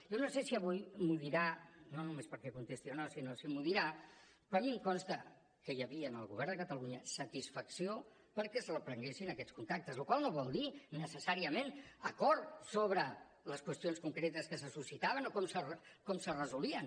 jo no sé si avui m’ho dirà no només perquè contesti o no sinó si m’ho dirà però a mi em consta que hi havia en el govern de catalunya satisfacció perquè es reprenguessin aquests contactes la qual cosa no vol dir necessàriament acord sobre les qüestions concretes que se suscitaven o com se resolien